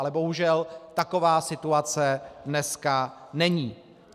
Ale bohužel taková situace dneska není.